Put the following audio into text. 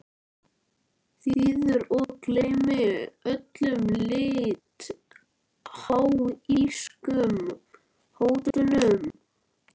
þýður og gleymi öllum litháískum hótunum.